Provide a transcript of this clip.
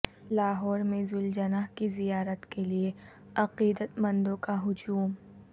لاہور میں ذوالجناح کی زیارت کے لیے عقیدت مندوں کا ہجوم